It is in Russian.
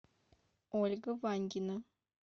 ольга ваньгина